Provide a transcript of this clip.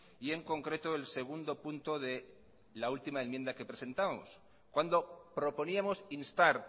y en concreto el segundo punto de la última enmienda que presentábamos cuando proponíamos instar